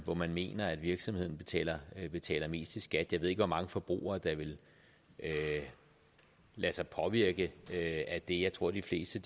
hvor man mener at virksomheden betaler betaler mest i skat jeg ved ikke hvor mange forbrugere der vil lade sig påvirke af det jeg tror de fleste